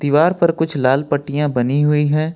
दीवार पर कुछ लाल पट्टियां बनी हुई है।